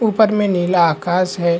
ऊपर में नीला आकाश है।